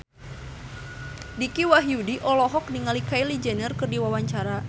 Dicky Wahyudi olohok ningali Kylie Jenner keur diwawancara